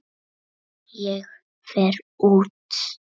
Ég fer út.